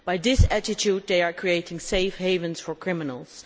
With this attitude, they are creating safe havens for criminals.